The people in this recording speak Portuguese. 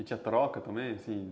E tinha troca também?